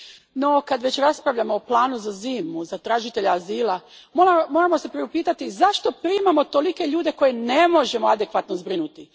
No, kad već raspravljamo o planu za zimu za tražitelje azila, moramo se priupitati i zašto primamo tolike ljude koje ne možemo adekvatno zbrinuti.